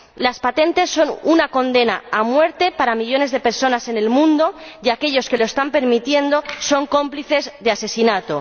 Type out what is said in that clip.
Las patentes son una condena a muerte para millones de personas en el mundo y aquellos que lo están permitiendo son cómplices de asesinato.